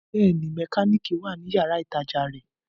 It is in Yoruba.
Bẹ́ẹ̀ni, mẹkánìkì wà ní yàrá-ìtajà rẹ̀